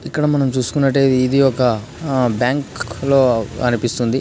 ఇక్కడ మనం చూసుకున్నట్లయితే ఇది ఒక బ్యాంకు లో అనిపిస్తుంది.